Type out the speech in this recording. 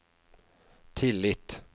tillit